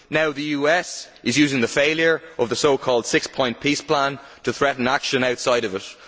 Now, the US is using the failure of the so called six point peace plan to threaten action outside of it.